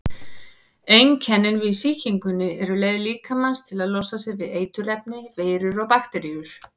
Einkennin við sýkingunni eru leið líkamans til að losa sig við eiturefni, veirur eða bakteríur.